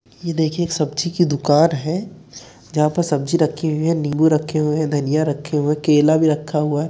ये देखिए एक सब्जी की दुकान है जहां पर सब्जी रखी हुई है नींबू रखे हुए हैं धनिया रखा हुआ केला भी रखा हुआ --